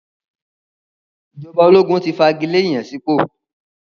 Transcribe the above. Ìjọba ológun ti fagilé ìyànsípò.